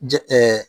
Jɛn